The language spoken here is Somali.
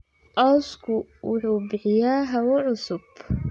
Cawsku wuxuu bixiyaa hawo cusub.